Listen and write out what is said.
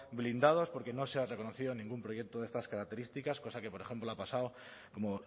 blindados porque no se ha reconocido ningún proyecto de estas características cosa que por ejemplo ha pasado como